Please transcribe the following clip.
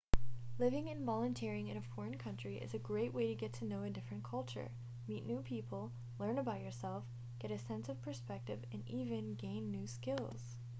living and volunteering in a foreign country is a great way to get to know a different culture meet new people learn about yourself get a sense of perspective and even gain new skills